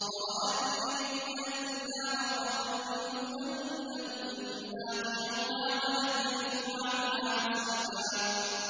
وَرَأَى الْمُجْرِمُونَ النَّارَ فَظَنُّوا أَنَّهُم مُّوَاقِعُوهَا وَلَمْ يَجِدُوا عَنْهَا مَصْرِفًا